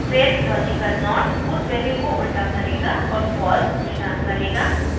फिर logical not उस value को उल्टा करेगा और false return करेगा